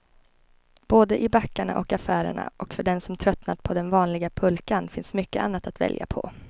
Både i backarna och affärerna, och för den som tröttnat på den vanliga pulkan finns mycket annat att välja på.